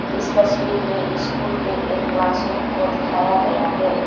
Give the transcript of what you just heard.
इस तस्वीर में स्कूल के एक क्लासरूम को दिखाया गया है।